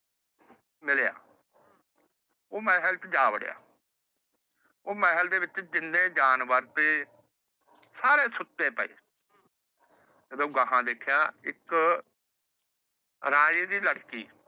ਮਿਲਿਆ। ਉਹ ਮਹਿਲ ਚ ਜਾ ਵੜਿਆ। ਉਹ ਮਹਿਲ ਚ ਜਿੰਨੇ ਜਾਨਵਰ ਸੀ ਸਾਰੇ ਸੁੱਤੇ ਪਾਏ। ਜਦੋ ਓਹਨੇ ਅਗਾਂਹ ਦੇਖਿਆ ਇੱਕ ਰਾਜੇ ਦੀ ਲੜਕੀ